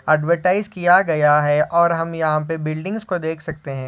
Advertise किया गया है और हम यहाँ पे बिल्डिंग्स को देख सकते है।